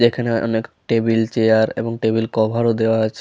যেখানে অনেক table chair এবং টেবিল কভার ও দেওয়া আছ--